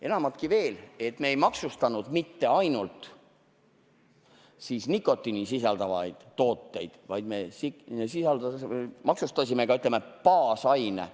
Enamatki veel, me ei maksustanud mitte ainult nikotiini sisaldavaid tooteid, vaid me maksustasime ka, ütleme, baasaine.